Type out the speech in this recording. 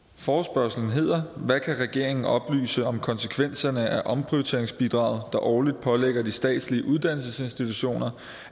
forespørgslen hedder hvad kan regeringen oplyse om konsekvenserne af omprioriteringsbidraget der årligt pålægger de statslige uddannelsesinstitutioner